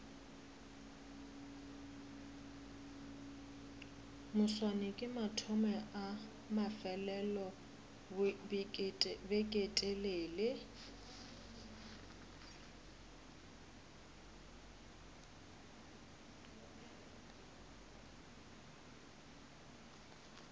moswane ke mathomo a mafelelobeketelele